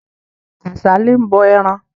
Kàsálí ń bọ ẹran.